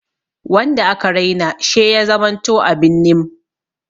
Wanda aka Raina she ya zamanto abin nim.